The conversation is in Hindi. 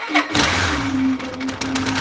इस तस्वीर में बहुत सारी--